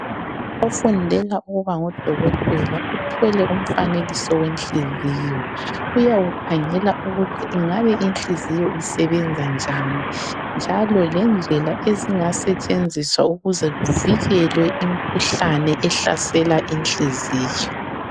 Ofundela ukuba ngudokotela, uthwele umfanekiso wenhliziyo uyawukhangela ukuthi ingabe inhliziyo isebenza njani, njalo lendlela ezingasetshenziswa ukuze kuvikelwe imikhuhlane ehlasela inhliziyo.